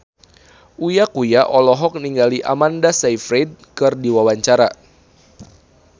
Uya Kuya olohok ningali Amanda Sayfried keur diwawancara